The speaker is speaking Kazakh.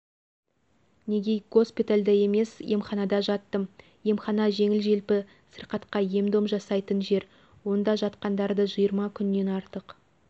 неге госпиальда емес емханада жаттым емхана жеңіл-желпі сырқатқа ем-дом жасайтын жер онда жатқандарды жиырма күннен артық